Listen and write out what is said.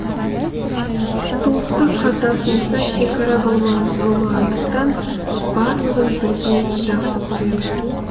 туыстық қатынасымызда шекара болмағандықтан барлығын бірдей жақсы көремін